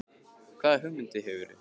Helga: Hvaða hugmyndir hefurðu?